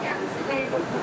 Xoş gəlmisiniz, xeyir olsun.